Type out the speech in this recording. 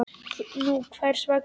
Nú hvers vegna ekki?